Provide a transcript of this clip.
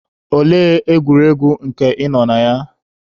Olee egwuregwu nke ị nọ na ya?